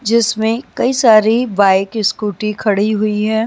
जिसमें कई सारी बाइक इस्कूटी खड़ी हुई है।